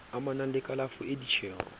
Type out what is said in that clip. amanang le kalafo le ditjeho